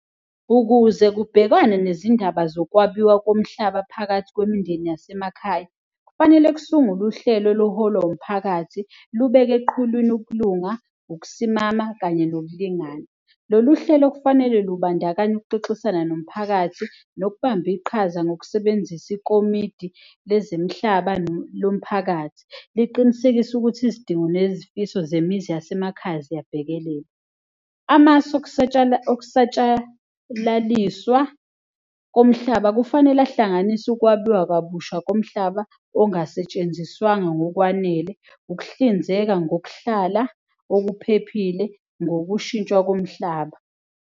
Ukuze kubhekwane nezindaba zokwabiwa komhlaba phakathi kwemindeni yasemakhaya, kufanele kusungulwe uhlelo oluholwa umphakathi, lubeke eqhulwini ukulunga, ukusimama kanye nokulingana. Lolu hlelo kufanele lubandakanye ukuxoxisana nomphakathi nokubamba iqhaza ngokusebenzisa ikomidi lezemihlaba lomphakathi, liqinisekise ukuthi izidingo nezifiso zemizi yasemakhaya ziyabhekelelwa. Amasu okusatshalaliswa komhlaba kufanele ahlanganise ukwabiwa kabusha komhlaba ongasetshenziswanga ngokwanele, ukuhlinzeka ngokuhlala okuphephile ngokushintshwa komhlaba.